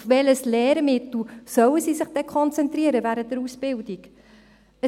Auf welches Lehrmittel sollten sie sich denn während der Ausbildung konzentrieren?